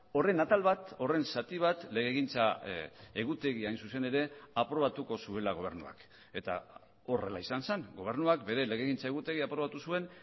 horren atal bat horren zati bat legegintza egutegia hain zuzen ere aprobatuko zuela gobernuak eta horrela izan zen gobernuak bere legegintza egutegia aprobatu zuen